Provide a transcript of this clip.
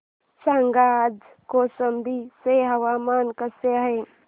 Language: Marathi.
सांगा आज कौशंबी चे हवामान कसे आहे